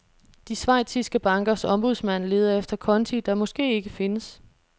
De schweiziske bankers ombudsmand leder efter konti, der måske ikke findes.